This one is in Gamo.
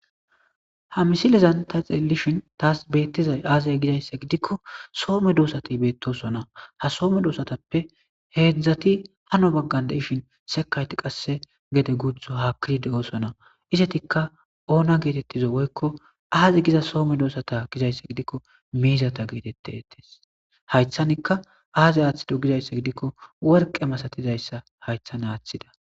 Ha misilezanta xeellishin taas beettizay aazey gizayssa gidikko soome doosati beettosona ha soome doosatappe heedzdzati hano baggan deishin sekayti qasse gede gutho haakkidi de7osona isetikka oona geetettizo woykko aaze giza soome doosata gizaysse gidikko miizata geetette ettees haythanikka aazey aaththido gizayssa gidikko worqe masatizayssa haythan aaththida.